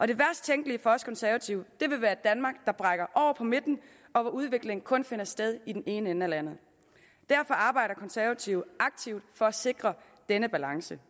det værst tænkelige for os konservative vil være et danmark der brækker over på midten og hvor udvikling kun finder sted i den ene ende af landet derfor arbejder konservative aktivt for at sikre denne balance